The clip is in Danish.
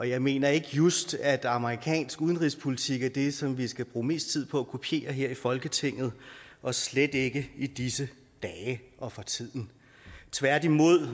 jeg mener ikke just at amerikansk udenrigspolitik er det som vi skal bruge mest tid på at kopiere her i folketinget og slet ikke i disse dage og for tiden tværtimod